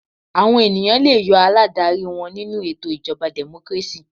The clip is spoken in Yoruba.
Àwọn ènìyàn le yọ aládarí wọn nínú ètò ìjọba democracy.